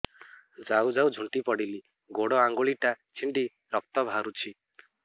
ଯାଉ ଯାଉ ଝୁଣ୍ଟି ପଡ଼ିଲି ଗୋଡ଼ ଆଂଗୁଳିଟା ଛିଣ୍ଡି ରକ୍ତ ବାହାରୁଚି